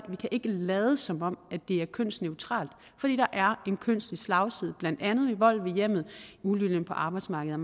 vi kan ikke lade som om det er kønsneutralt fordi der er en kønslig slagside blandt andet i vold i hjemmet uligeløn på arbejdsmarkedet